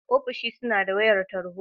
Ofishi suna da wayar tarho.